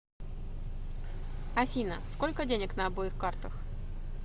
афина сколько денег на обоих картах